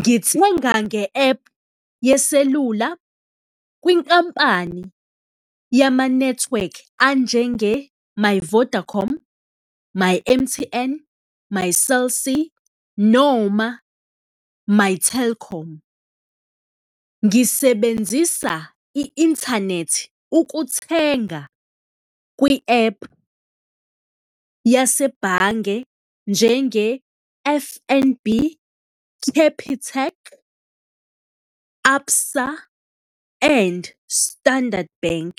Ngithenga nge-app yeselula kwinkampani yamanethiwekhi anjenge-My Vodacom, My M_T_N, my Cell C noma My Telkom. Ngisebenzisa i-inthanethi ukuthenga kwi-app yasebhange njenge-F_N_B, Capitec, ABSA and Standard Bank,